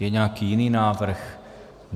Je nějaký jiný návrh?